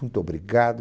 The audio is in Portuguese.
Muito obrigado.